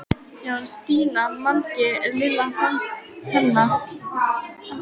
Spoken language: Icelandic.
Já en Stína, Mangi er. Lilla þagnaði.